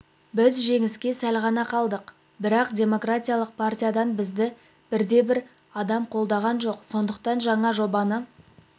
біз жеңіске сәл ғана қалдық бірақ демократиялық партиядан бізді бірде-бір адам қолдаған жоқ сондықтан жаңа жобаны